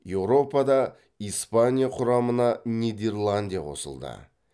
еуропада испания құрамына нидерландия қосылды